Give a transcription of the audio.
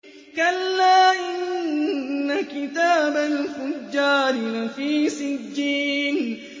كَلَّا إِنَّ كِتَابَ الْفُجَّارِ لَفِي سِجِّينٍ